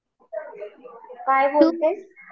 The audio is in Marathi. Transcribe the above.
काय बोलते?